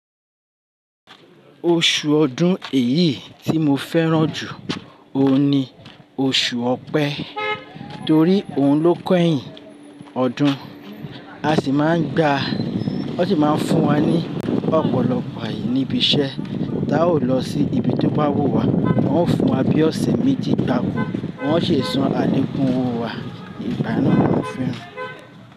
Oṣù ọdún èyí tí mo fẹ́ràn jù òun ni oṣù Ọ̀pẹ, torí òun ló kẹ́yìn ọdún. A sì máa ń gba-- wọ́n sì máa ń fún wa ní ọ̀pọ̀lọpọ̀ àyè níbi iṣẹ́. Tá ò lọ sí ibi tí ó bá wù wá, wọ́n ó fún wa bí ọ̀sẹ̀ méjì gbowọ́, wọ́n ó sì san àlekun owo wa. Ìgbà náà ni mo fẹ́ràn.